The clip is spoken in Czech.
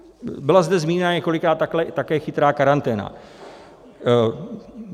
Byla zde zmíněna několikrát také chytrá karanténa.